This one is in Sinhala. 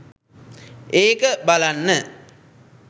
ඒක බලන්න.